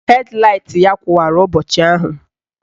Hed laịt ya kụwara ụbọchị ahụ